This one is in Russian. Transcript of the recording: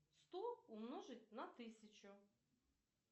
сто умножить на тысячу